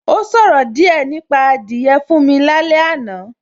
Ó ṣòro díẹ̀ nípa adìyẹ fún mi lálé àná